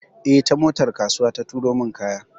Eh, ta motar kasuwa ta turo min kaya.